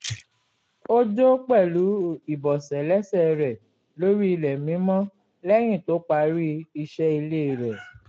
ó jó pẹ̀lú ibọ̀sẹ̀ lẹ́sẹ̀ rẹ̀ lórí ilẹ̀ mímọ lẹ́yìn tó parí isẹ́ ilé rẹ̀